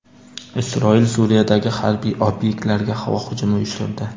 Isroil Suriyadagi harbiy obyektlarga havo hujumi uyushtirdi.